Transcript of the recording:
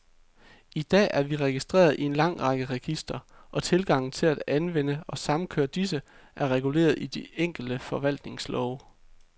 I dag er vi registreret i en lang række registre, og tilgangen til at anvende og samkøre disse, er reguleret i de enkelte forvaltningslove.